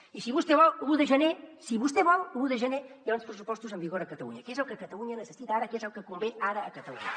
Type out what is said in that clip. i si vostè vol l’un de gener si vostè vol l’un de gener hi haurà uns pressupostos en vigor a catalunya que és el que catalunya necessita ara que és el que convé ara a catalunya